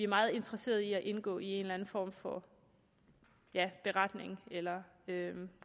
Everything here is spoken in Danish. meget interesserede i at indgå i en eller anden form for beretning eller